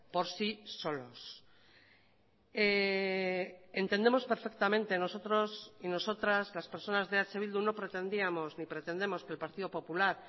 por sí solos entendemos perfectamente nosotros y nosotras las personas de eh bildu no pretendíamos ni pretendemos que el partido popular